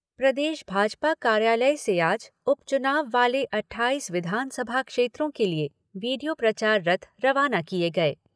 प्रदेश भाजपा कार्यालय से आज उपचुनाव वाले अट्ठाईस विधानसभा क्षेत्रों के लिए वीडियो प्रचार रथ रवाना किए गए।